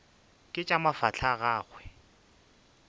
ke tša mafahla a gagwe